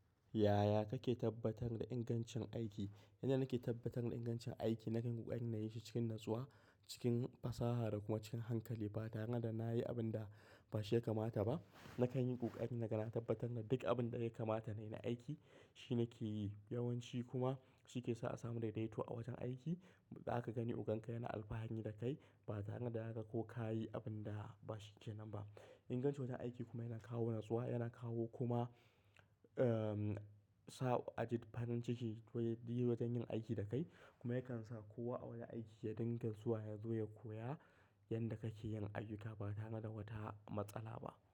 Yaya kake tabbatar da ingancin aiki? Yanda nake tabbatar da ingancin aiki nakan yi ƙoƙarin na yi shi cikin natsuwa, cikin fasaha da kuma cikin hankali ba tare da na yi abun da ba shi ya kamata ba. Nakan yi ƙoƙari naga na tabbatar da duk abun da ya kamata na yi na aiki shi nake yi. Yawanci kuma shi ke sa a samu daidaito a wojen aiki. Zaka gani ogan ka yana alfahari da kai ba tare da yaga ko ka yi abun da ba shi ke nan ba. Ingancin wojen aiki kuma yana kawo natsuwa, yana kawo kuma, ehm, sa a ji farin ciki to ya yi wojen yin aiki da kai kuma yakan sa kowa a wajen aiki ya dinga zuwa ya zo ya koya yanda kake yin ayyuka ba tare da wata matsala ba.